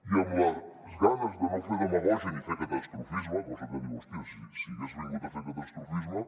i amb les ganes de no fer demagògia ni fer catastrofisme cosa que diu hòstia si hagués vingut a fer catastrofisme